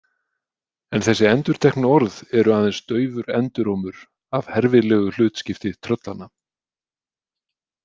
En þessi endurteknu orð eru aðeins daufur endurómur af herfilegu hlutskipti tröllanna.